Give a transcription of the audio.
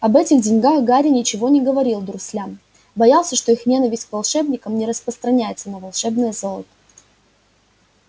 об этих деньгах гарри ничего не говорил дурслям боялся что их ненависть к волшебникам не распространяется на волшебное золото